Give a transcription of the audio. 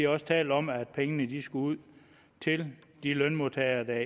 også talt om at pengene skulle ud til de lønmodtagere der